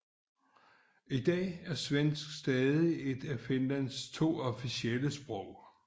I dag er svensk stadig et af Finlands to officielle sprog